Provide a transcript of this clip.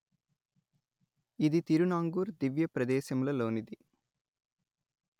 ఇది తిరునాంగూర్ దివ్యప్రదేశముల లోనిది